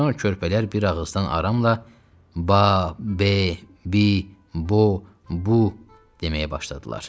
Sonra körpələr bir ağızdan aramla ba, be, bi, bo, bu deməyə başladılar.